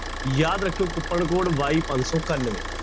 ਯਾਦ ਰੱਖਿਓ coupon code y ਪੰਜ ਸੌ ਇਕਾਨਵੇਂ।